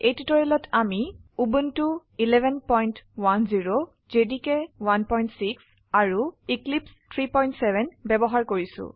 এই টিউটোৰিয়েলত আমি উবুন্টু 1110 জেডিকে 16 আৰু এক্লিপছে 37 ব্যবহাৰ কৰিছো